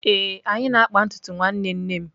Ee, anyị na-akpa ntutu nwanne nne m.